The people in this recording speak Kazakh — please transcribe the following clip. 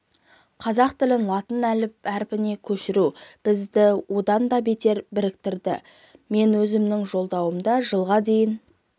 қазақ тілін латын әрпіне көшіру бізді одан да бетер біріктіреді мен өзімнің жолдауымда жылға дейін